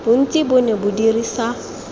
bontsi bo ne bo dirisa